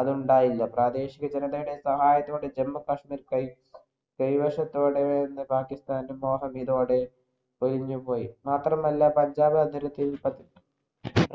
അതുണ്ടായില്ല. പ്രാദേശികജനതയുടെ സഹായത്തോടെ ജമ്മു-കശ്മീർ കൈ കൈവശത്തോടെ എന്ന് പാകിസ്ഥാന്‍റെ മോഹം ഇതോടെ ഒഴിഞ്ഞുപോയി. മാത്രമല്ല പഞ്ചാബി അതിർത്തിയിൽ